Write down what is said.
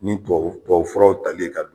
Ni tuwawu tuwawufuraw tali ye ka